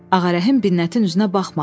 Ağarəhim Binətin üzünə baxmadı.